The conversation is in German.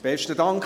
Besten Dank.